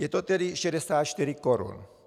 Je to tedy 64 korun.